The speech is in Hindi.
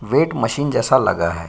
वेट मशीन जैसा लगा है।